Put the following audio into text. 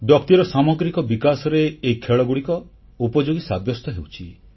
ବ୍ୟକ୍ତିର ସାମଗ୍ରିକ ବିକାଶରେ ଏହି ଖେଳଗୁଡ଼ିକ ଉପଯୋଗୀ ସାବ୍ୟସ୍ତ ହେଉଛି